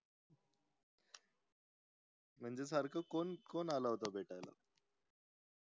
म्हणजे सारखं को कोण आलाय होत भेटायला